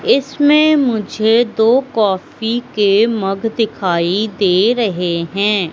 इसमें मुझे दो काफी के मग दिखाई दे रहे हैं।